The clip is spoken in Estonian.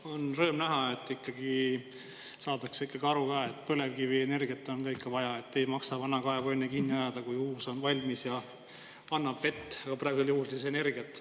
On rõõm näha, et ikkagi saadakse aru, et põlevkivienergiat on ikka ka vaja ning et ei maksa vana kaevu enne kinni ajada, kui uus on valmis ja annab vett, praegusel juhul energiat.